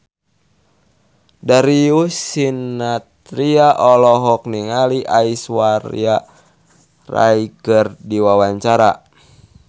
Darius Sinathrya olohok ningali Aishwarya Rai keur diwawancara